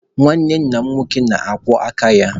Nwanne nna m nke nwoke na-akwọ aka ya.